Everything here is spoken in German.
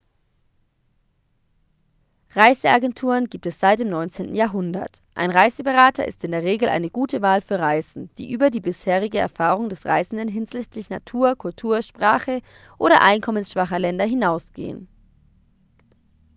reiseagenturen gibt es seit dem 19. jahrhundert ein reiseberater ist in der regel eine gute wahl für reisen die über die bisherige erfahrung des reisenden hinsichtlich natur kultur sprache oder einkommensschwacher länder hinausgehen